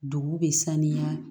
Dugu bɛ sanuya